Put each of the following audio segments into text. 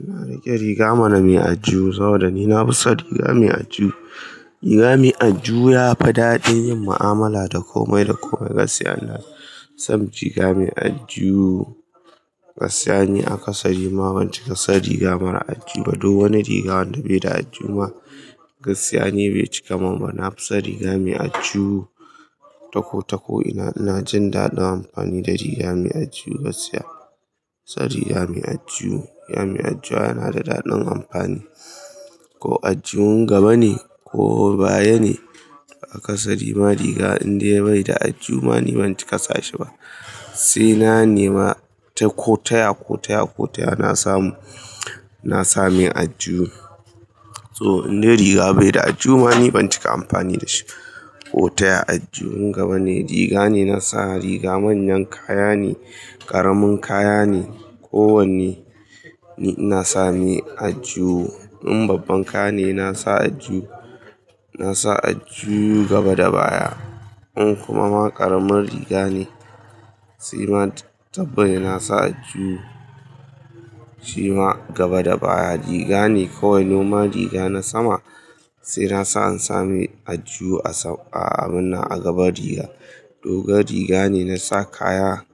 Ina rike riga mana nai aljihu saboda ni na fi son riga mai aljihu. Riga mai aljihu ya fi daɗin yin mu'amala da komai da komai gaskiya. Na san riga mai aljihu, gaskiya ni a kasa riga ban cika san riga mara aljihu. Duk wani riga wanda bai da aljihu ma gaskiya ni bai cika mumba. Na fi son riga mai aljihu taku taku. Ina jin daɗin amfani da riga mai aljihu gaskiya. Riga mai aljihu yana da daɗin amfani. Ko aljihun gaba ne ko baya ne a kasa riga. In dai bai da aljihu ma ni ban cika sa shi ba. Sai na nema ta kotaya, kotaya, kotaya na samu, na samai aljihu. To in dai riga bai da aljihu ma ni ban cika amfani da shi ba. Kotaya aljihun gaba ne. Riga ne na sa. Riga manyan kaya ne, ƙaramin kaya ne. Ko wanne ina sami ajiya. In babban kaya ne na sa aljihu gaba da baya. In kuma ƙaramin riga ne sai ma tabban ina sa aljihu shima gaba da baya. Riga ne ko wane nomal riga na sama sai na sa in sami aljihu a gabar riga. Dogon riga ne na sa kaya,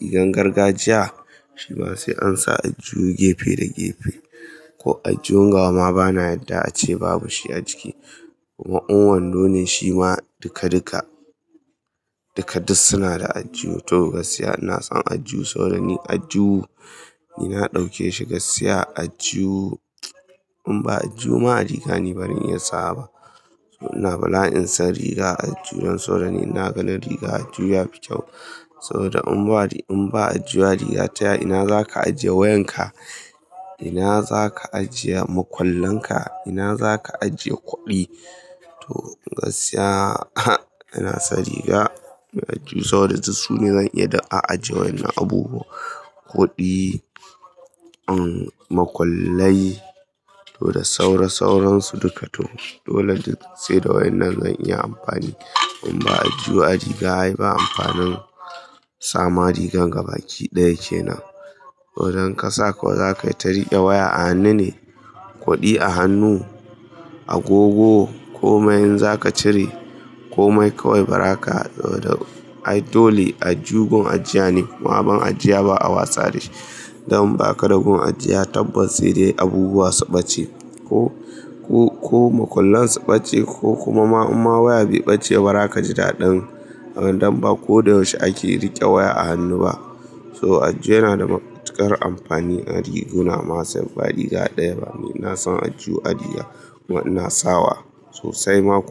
rigar gargajiya shima sai an sa aljihu gefe da gefe. Ko aljihun gaba ma bana yadda ace babu shi a jiki. Kuma un wando ne shima duka duka suna da ajiya. To gaskiya ina son aljihu saboda aljihu ni na ɗauke shi gaskiya aljihu. In ba aljihu ma riga ni ban iya sawa ba. Ina bala'in san riga aljihun don saboda ni na kalla riga aljihu fi kyau. Saboda in ba aljihu riga taya ina za ka ajiye wayanka? Ina za ka ajiye makwallanka? Ina za ka ajiye kuɗi? To gaskiya ina son riga mai aljihu saboda da su ne zan iya ajiye wannan abubuwa. Kuɗi, makwallai to da saura sauran su duka. To dole sai da wannan zan iya amfani. In ba aljihu ai riga yayi ba amfanin sa ma rigar gaba ki ɗaya kenan. Ko idan ka sa ko za ka yi ta riƙe waya a hannu ne, kuɗi a hannu, agogo ko mai in za ka cire ko mai kaawai baraka. To dole aljihu gun ajiya ne kuma abun ajiya ba a watsa shi. Don inba ka da gun ajiya tabban sai dai abubuwa su ɓace ko makwallan su ɓace ko kuma ma waya biyu ɓace. Bara ka ji daɗin. Don ba ko da yaushe ake riƙe waya a hannu ba. To aljihu yana da matuƙar amfani a riguna ma sai ba riga ɗaya bane. Na san aljihu a riga kuma ina sawa sosai ma kuwa.